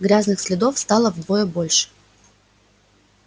грязных следов стало вдвое больше